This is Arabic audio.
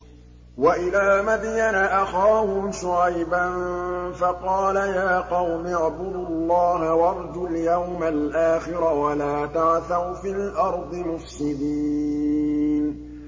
وَإِلَىٰ مَدْيَنَ أَخَاهُمْ شُعَيْبًا فَقَالَ يَا قَوْمِ اعْبُدُوا اللَّهَ وَارْجُوا الْيَوْمَ الْآخِرَ وَلَا تَعْثَوْا فِي الْأَرْضِ مُفْسِدِينَ